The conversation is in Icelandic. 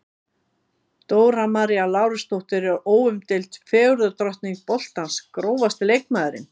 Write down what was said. Dóra María Lárusdóttir er óumdeild fegurðardrottning boltans Grófasti leikmaðurinn?